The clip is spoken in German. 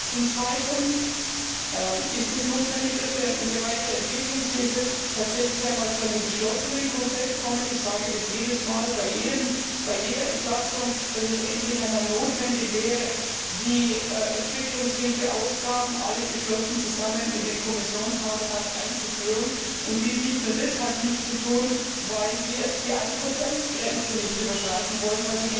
Zum Zweiten ist es notwendig, dass wir im Bereich der Entwicklungshilfe tatsächlich einmal zu einem geschlossenen Konzept kommen. Ich sage jedes Mal, bei jeder Entlastung, dass es endlich einmal notwendig wäre, die Entwicklungshilfeausgaben alle geschlossen gemeinsam in den Kommissionshaushalt einzuführen, und dies nicht nur deshalb nicht zu tun, weil wir die 1 Grenze nicht überschreiten wollen.